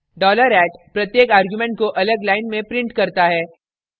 $@ प्रत्येक argument को अलग line में prints करता है